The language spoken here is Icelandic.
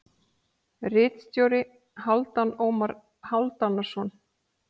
Ritstjóri: Hálfdan Ómar Hálfdanarson.